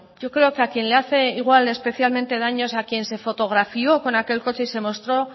yo creo que a quien le hace igual especialmente es a quien se fotografió con aquel coche y se mostró